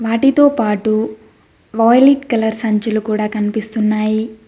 వాటితో పాటు violet colour సంచుల కూడా కనిపిస్తున్నాయి.